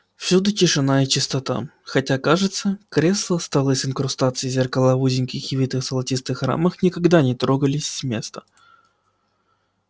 всюду тишина и чистота хотя кажется кресла столы с инкрустациями и зеркала в узеньких и витых золотых рамах никогда не трогались с места